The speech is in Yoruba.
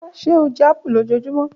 Ṣe o jẹ apu lojoojumọ?